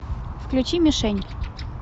включи мишень